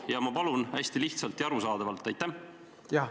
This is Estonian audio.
Ja ma palun, vastake hästi lihtsalt ja arusaadavalt!